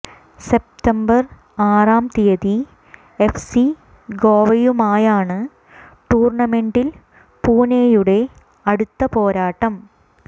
September ആറാം തീയതി F C ഗോവയുമായാണ് ടൂർണമെന്റിൽ പൂനെയുടെ അടുത്ത പോരാട്ടം